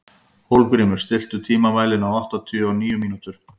Hólmgrímur, stilltu tímamælinn á áttatíu og níu mínútur.